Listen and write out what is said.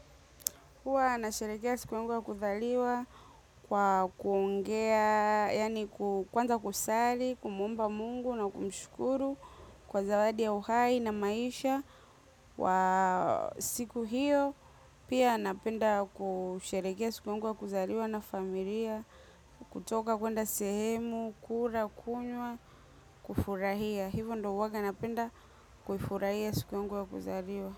Huwa nasherehekea siku yangu wa kuzaliwa kwa kuongea, yani kwanza kusali, kumwomba mungu na kumshukuru kwa zawadi ya uhai na maisha. Siku hiyo, pia napenda kusherehekea siku yangu wa kuzaliwa na familia, kutoka kwenda sehemu, kula, kunywa, kufurahia. Hivo ndo huwaganapenda kufurahia siku yangu ya kuzaliwa.